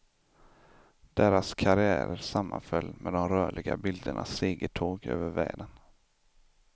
Deras karriärer sammanföll med de rörliga bildernas segertåg över världen.